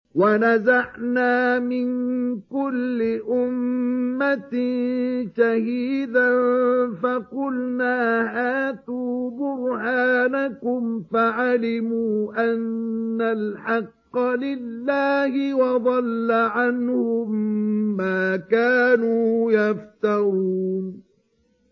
وَنَزَعْنَا مِن كُلِّ أُمَّةٍ شَهِيدًا فَقُلْنَا هَاتُوا بُرْهَانَكُمْ فَعَلِمُوا أَنَّ الْحَقَّ لِلَّهِ وَضَلَّ عَنْهُم مَّا كَانُوا يَفْتَرُونَ